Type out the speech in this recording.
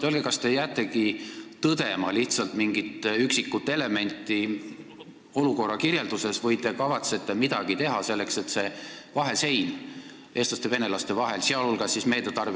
Öelge, kas te jäätegi lihtsalt tõdema mingeid üksikuid elemente olukorra kirjelduses või te kavatsete midagi teha selleks, et see vahesein eestlaste ja venelaste vahel maha lammutataks!